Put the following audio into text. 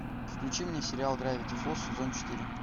включи мне сериал гравити фолз сезон четыре